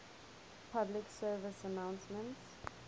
public service announcements